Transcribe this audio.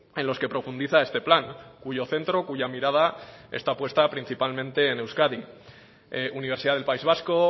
en los que profundiza este plan cuyo centro cuya mirada está puesta principalmente en euskadi universidad del país vasco